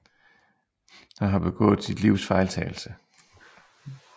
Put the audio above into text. Han har begået sit livs fejltagelse